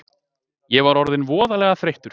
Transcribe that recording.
Ég var orðinn voðalega þreyttur.